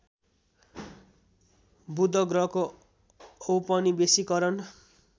बुध ग्रहको औपनिवेशीकरण